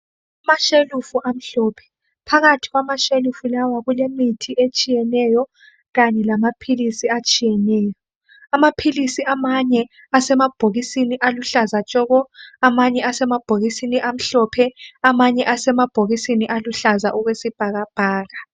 Amashelufu amhlophe. Phakathi kwamashelufu lawa kulemithi etshiyeneyo kanye lamaphilisi atshiyeneyo. Amaphilisi amanye asemabhokisini aluhlaza tshoko, amanye asemabhokisini amhlophe, amanye asemabhokisini aluhlaza okwesibhakabhaka.